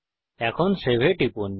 এখন সেভ এ টিপুন